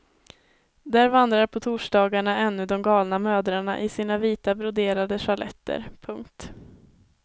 Där vandrar på torsdagarna ännu de galna mödrarna i sina vita broderade sjaletter. punkt